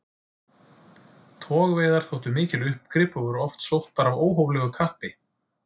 Togveiðar þóttu mikil uppgrip og voru oft sóttar af óhóflegu kappi.